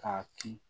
K'a ci